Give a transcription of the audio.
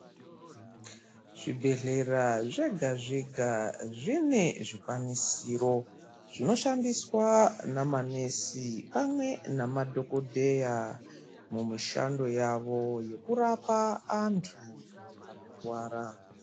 Zvibhedhlera zvega zvega zvine zvikwanisiro zvinoshandiswa namanesi pamwe namadhokodheya mumushando yavo yekurapa antu anorwara.